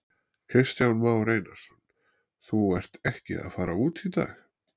Kristján Már Einarsson: Þú ert ekki að fara út í dag?